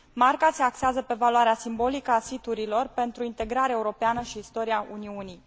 Marca se axează pe valoarea simbolică a siturilor pentru integrare europeană și istoria Uniunii.